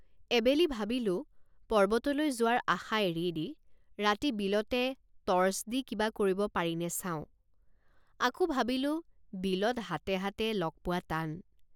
এবেলি ভাবিলোঁপৰ্বতলৈ যোৱাৰ আশা এৰি দি ৰাতি বিলতে টৰ্চ দি কিবা কৰিব পাৰিনে চাওঁ আকৌ ভাবিলোঁ বিলত হাতে হাতে লগ পোৱা টান।